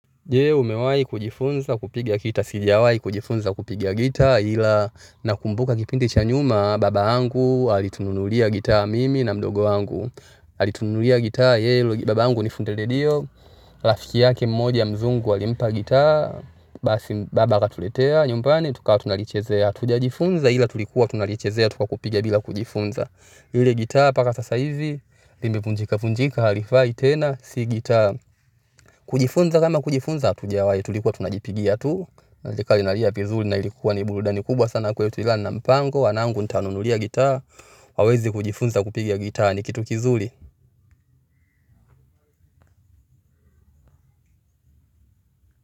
Je umewai kujifunza kupiga gitaa. Sijawai kujifunza kupiga gitaa ila nakumbuka kipindi cha nyuma baba yangu alitununulia gitaa mimi na mdogo wangu. Alitununulia gitaa. Baba yangu nifundele lilio. Rafiki yake mmoja mzungu alimpa gitaa. Basi baba akatuletea nyumbani tukawa tunalichezea. Tujajifunza ila tulikuwa tunalichezea tu kwa kupiga bila kujifunza. Ile gitaa mpaka sasa hivi limevunjika vunjika halifai tena si gitaa. Kujifunza kama kujifunza hatujawai tulikuwa tunajipigia tu na ikawa inalia vizuri na ilikuwa ni burudani kubwa sana kwa hiyo tulana mpango. Wanangu nitawanunulia gitaa waweze kujifunza kupiga gitaa ni kitu kizuri.